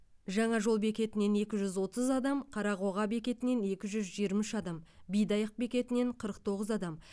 жаңа жол бекетінен екі жүз отыз адам қарақоға бекетінен екі жүз жиырма үш адам бидайық бекетінен қырық тоғыз адам